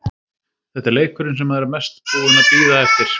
Þetta er leikurinn sem maður er mest búinn að bíða eftir.